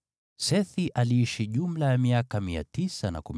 Sethi aliishi jumla ya miaka 912, ndipo akafa.